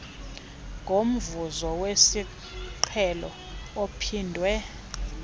ngomvuzo wesiqhelo ophindwe